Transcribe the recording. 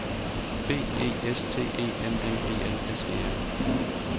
B E S T E M M E L S E R